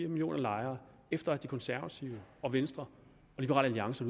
millioner lejere efter at de konservative og venstre og liberal alliance